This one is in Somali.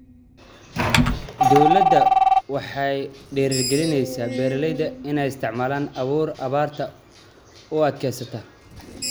Dawladdu waxay ku dhiirigelinaysaa beeralayda inay isticmaalaan abuur abaarta u adkeysata.